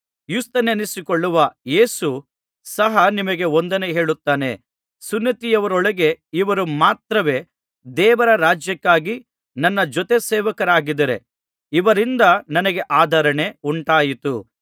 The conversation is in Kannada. ಯುಸ್ತನೆನಿಸಿಕೊಳ್ಳುವ ಯೇಸು ಸಹ ನಿಮಗೆ ವಂದನೆ ಹೇಳುತ್ತಾನೆ ಸುನ್ನತಿಯವರೊಳಗೆ ಇವರು ಮಾತ್ರವೇ ದೇವರ ರಾಜ್ಯಕ್ಕಾಗಿ ನನ್ನ ಜೊತೆಸೇವಕರಾಗಿದ್ದಾರೆ ಇವರಿಂದ ನನಗೆ ಆದರಣೆ ಉಂಟಾಯಿತು